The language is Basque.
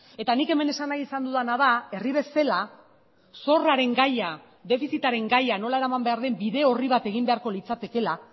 eta nik hemen esan nahi izan dudana da herri bezala zorraren gaia defizitaren gaia nola eraman behar den bide orri bat egin beharko litzatekeela